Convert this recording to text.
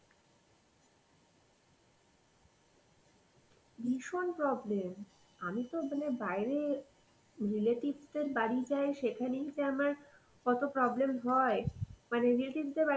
ভীষণ problem. আমি তো মানে বাইরে relatives দের বাড়ি যাই সেখানেই যে আমার কত problem হয় মানে relatives দের বাড়িতে